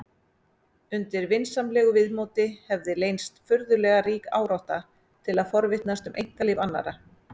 Undir vinsamlegu viðmóti hefði leynst furðulega rík árátta til að forvitnast um einkalíf annarra.